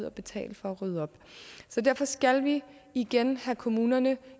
at betale for at rydde op så derfor skal vi igen have kommunerne